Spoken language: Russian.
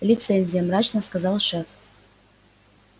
лицензия мрачно сказал шеф